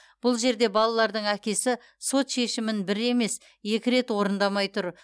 бұл жерде балалардың әкесі сот шешімін бір емес екі рет орындамай тұр